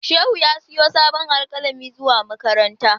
Shehu ya siyo sabon alkalami zuwa makaranta.